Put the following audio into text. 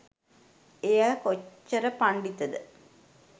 එයා කොච්චර පණ්ඩිතද